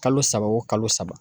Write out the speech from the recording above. Kalo saba o kalo saba